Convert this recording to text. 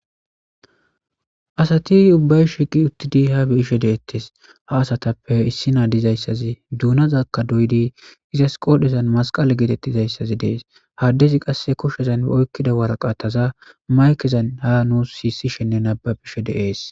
Asati ubbay shiqi uttidi ha bi ishe deettes ha asatappe issi naa dizayssazi duunazakka doydi izas qoodhezan masqale geetettizayssazi dees haddezi qasse kushezan ba oykkida waraqataza maykezan ha nuus siisishenne nababishe dees.